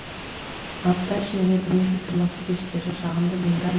апта ішінде бірнеше сырласу кештері жағымды жиындар